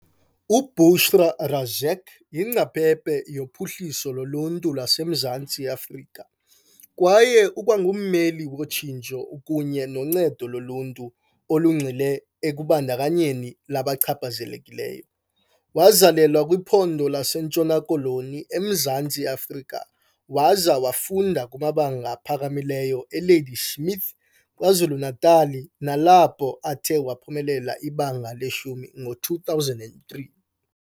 UBushra Razack yingcaphephe yophuhliso loluntu lwaseMzantsi Afrika kwaye ukwangummeli wotshintsho kunye noncedo loluntu olungxile ekubandakanyeni labachaphazelekayo. Wazalelwa kwiphondo laseNtshona Koloni, eMzantsi Afrika waza wafunda kumabanga aphakamileyo eLadysmith, Kwazulu-Natal nalapho athe waphumelela ibanga leshumi ngo-2003.